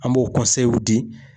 An b'o di